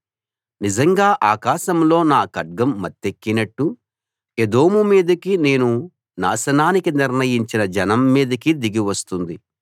నిజంగా ఆకాశంలో నా ఖడ్గం మత్తెక్కినట్టు ఎదోము మీదికీ నేను నాశనానికి నిర్ణయించిన జనం మీదికీ దిగివస్తుంది